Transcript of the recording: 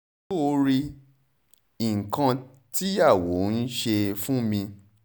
ṣó o rí nǹkan tìyàwó n ṣe fún mi